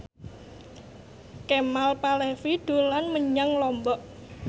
Kemal Palevi dolan menyang Lombok